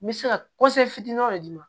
N bɛ se ka fitinin dɔ d'i ma